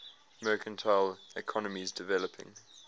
mercantile economies developing